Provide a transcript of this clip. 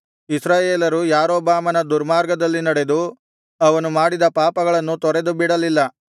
ಇಸ್ರಾಯೇಲರು ಯಾರೊಬ್ಬಾಮನ ದುರ್ಮಾರ್ಗದಲ್ಲಿ ನಡೆದು ಅವನು ಮಾಡಿದ ಪಾಪಗಳನ್ನು ತೊರೆದು ಬಿಡಲಿಲ್ಲ